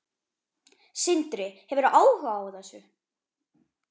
Sindri: Hefurðu áhuga á þessu?